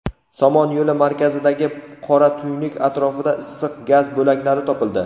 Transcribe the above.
Somon yo‘li markazidagi qora tuynuk atrofida issiq gaz bo‘laklari topildi.